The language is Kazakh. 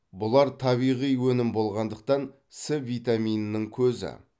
бұлар табиғи өнім болғандықтан с витаминінің көзі